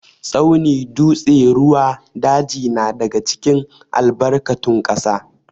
Tsauni, dutse, ruwa, daji na daga cikin albarkatun ƙasa.